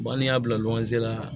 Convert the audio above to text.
n'i y'a bila la